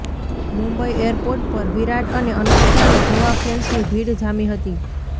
Mumbai airport પર વિરાટ અને અનુષ્કાને જોવા ફેન્સની ભીડ જામી હતી